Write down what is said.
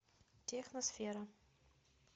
техносфера